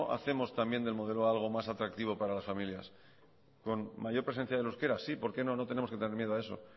hacemos del modelo a algo más atractivo para las familias con mayor presencia del euskera sí por qué no no tenemos que tener miedo a eso